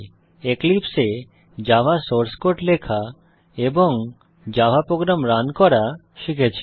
এক্লিপসে এ Java source code লেখা এবং জাভা প্রোগ্রাম রান করা শিখেছি